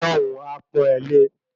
Ọlọ́hun a pọn e lé